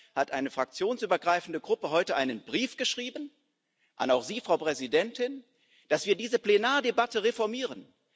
Deshalb hat eine fraktionsübergreifende Gruppe heute einen Brief geschrieben auch an Sie, Frau Präsidentin dass wir diese Plenardebatte reformieren.